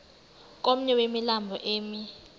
komnye wemilambo emi